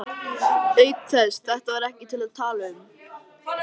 Auk þess, þetta var ekkert til að tala um.